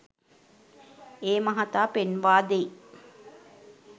ඒ මහතා පෙන්වා දෙයි